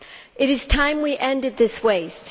It is time we ended this waste.